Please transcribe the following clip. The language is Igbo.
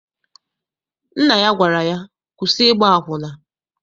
Nna ya gwara ya, kwụsị ịgba akwụna!